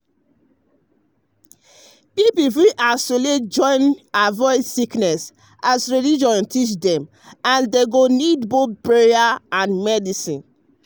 people fit isolate to avoid sickness as religion teach dem and dem go need both prayer and medicine.